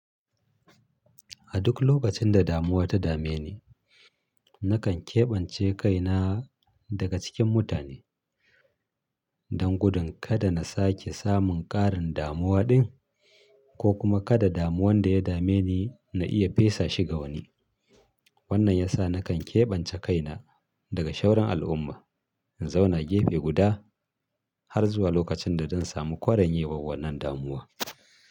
A duk lokacin da damuwa ta dame ni, nakan keɓance kaina daga cikin mutane don gudun kada na sake samun ƙarin damuwa ɗin ko kuma kada damuwan da ya dame ni na iya fesa shi ga wani. Wannan ya sa nakan keɓance kaina daga shauran al'umma in zauna gefe guda har zuwa lokacin da zan samu kwarin yawan wannan damuwa.